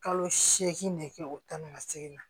Kalo seegin nege bɔ o tan ni ka segin na